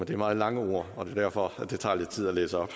det er meget lange ord og det er derfor at det tager lidt tid at læse op